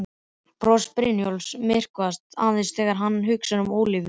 Bros Brynjólfs myrkvast aðeins þegar hann hugsar um Ólafíu.